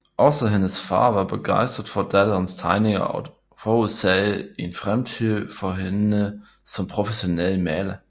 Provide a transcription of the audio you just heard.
Også hendes far var begejstret for datterens tegninger og forudsagde en fremtid for hende som professionel maler